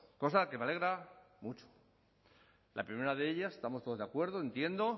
cosa que me alegra mucho la primera de ellas estamos todos de acuerdo entiendo